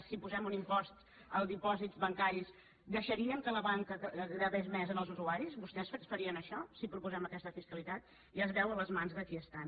si posem un impost als dipòsits bancaris deixaríem que la banca gravés més en els usuaris vostès farien això si proposem aquesta fiscalitat ja es veu a les mans de qui estan